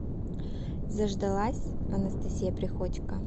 заждалась анастасия приходько